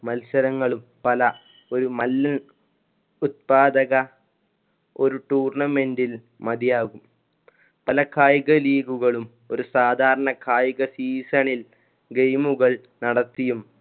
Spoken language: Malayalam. മത്സരങ്ങളും പല ഒരു മല്~ ഉത്പാദക ഒരു tournament ൽ മതിയാകും പല കായിക league കളും ഒരു സാധാരണ കായിക season ൽ game കൾ നടത്തിയും